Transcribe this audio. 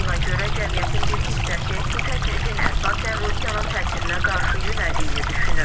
Buna görə cəmiyyətin bir hissəsi bu təklifin əsasən Rusiyanın təsirinə qarşı yönəldiyini düşünür.